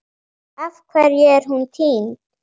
Af hverju er hún týnd?